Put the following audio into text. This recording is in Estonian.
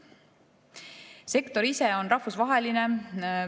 Sektor ise on rahvusvaheline.